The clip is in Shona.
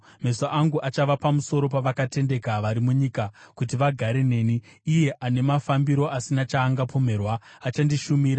Meso angu achava pamusoro pavakatendeka vari munyika, kuti vagare neni; iye ane mafambiro asina chaangapomerwa, achandishumira.